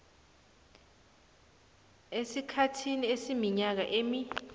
esikhathini esiminyaka emi